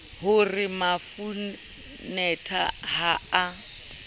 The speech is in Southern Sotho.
ho re mafanetha ha a